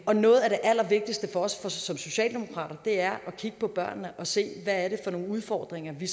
og noget af det allervigtigste for os som socialdemokrater er at kigge på børnene og se hvad det er for nogle udfordringer vi